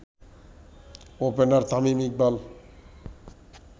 opener Tamim Iqbal